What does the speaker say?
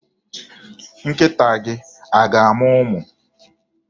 Nkịta gị a ga-amụ ụmụ?